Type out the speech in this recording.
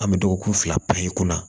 An bɛ dɔgɔkun fila i kunna